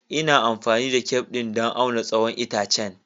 Ina amfani da tef ɗin don auna tsawon itacen.